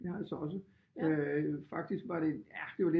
Ja det har jeg så også faktisk var det ja det var